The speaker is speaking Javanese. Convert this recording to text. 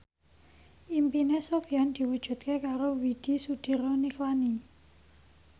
impine Sofyan diwujudke karo Widy Soediro Nichlany